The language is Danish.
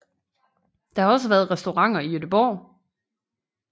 Der har også været restauranter i Gøteborg